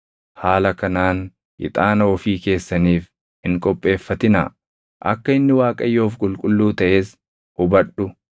Haala kanaan ixaana ofii keessaniif hin qopheeffatinaa; akka inni Waaqayyoof qulqulluu taʼes hubadhu.